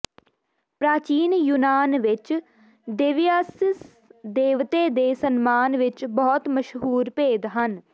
ਪ੍ਰਾਚੀਨ ਯੂਨਾਨ ਵਿਚ ਦੇਵਿਆਸੀਅਸ ਦੇਵਤੇ ਦੇ ਸਨਮਾਨ ਵਿਚ ਬਹੁਤ ਮਸ਼ਹੂਰ ਭੇਦ ਸਨ